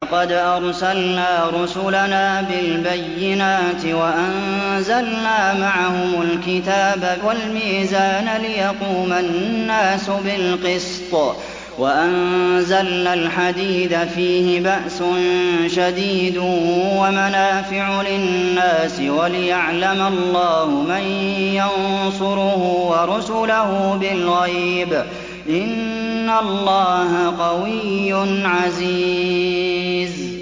لَقَدْ أَرْسَلْنَا رُسُلَنَا بِالْبَيِّنَاتِ وَأَنزَلْنَا مَعَهُمُ الْكِتَابَ وَالْمِيزَانَ لِيَقُومَ النَّاسُ بِالْقِسْطِ ۖ وَأَنزَلْنَا الْحَدِيدَ فِيهِ بَأْسٌ شَدِيدٌ وَمَنَافِعُ لِلنَّاسِ وَلِيَعْلَمَ اللَّهُ مَن يَنصُرُهُ وَرُسُلَهُ بِالْغَيْبِ ۚ إِنَّ اللَّهَ قَوِيٌّ عَزِيزٌ